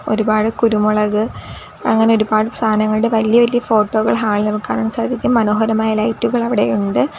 ഒരുപാട് കുരുമുളക് അങ്ങനെ ഒരുപാട് സാധങ്ങളുടെ വലിയ വലിയ ഫോട്ടോകൾ ഹാളിൽ നമുക്ക് കാണാൻ സാധിക്കും മനോഹരമായ ലൈറ്റ് കൾ അവിടെയുണ്ട്.